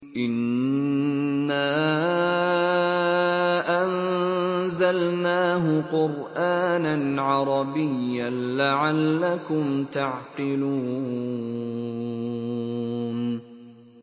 إِنَّا أَنزَلْنَاهُ قُرْآنًا عَرَبِيًّا لَّعَلَّكُمْ تَعْقِلُونَ